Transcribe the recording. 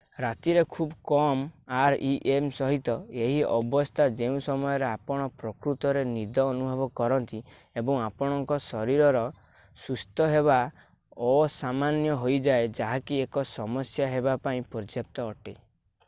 ରାତିରେ ଖୁବ କମ୍ rem ସହିତ ଏହି ଅବସ୍ଥା ଯେଉଁ ସମୟରେ ଆପଣ ପ୍ରକୃତରେ ନିଦ ଅନୁଭବ କରନ୍ତି ଏବଂ ଆପଣଙ୍କ ଶରୀର ସୁସ୍ଥ ହେବା ଅସାମାନ୍ୟ ହୋଇଯାଏ ଯାହାକି ଏକ ସମସ୍ୟା ହେବା ପାଇଁ ପର୍ଯ୍ୟାପ୍ତ ଅଟେ